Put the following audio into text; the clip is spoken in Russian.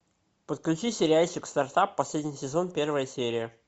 подключи сериальчик стартап последний сезон первая серия